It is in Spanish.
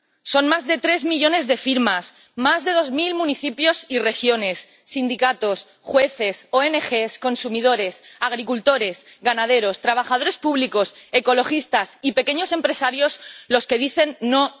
Son más de tres millones de firmas, más de dos mil municipios y regiones, sindicatos, jueces, oenegés, consumidores, agricultores, ganaderos, trabajadores públicos, ecologistas y pequeños empresarios los que dicen ¡no!